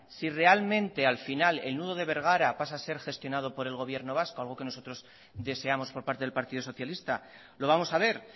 si realmente al final el nudo de bergara pasa a ser gestionado por el gobierno vasco algo que nosotros deseamos por parte del partido socialista lo vamos a ver